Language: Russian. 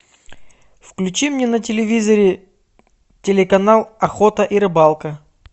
включи мне на телевизоре телеканал охота и рыбалка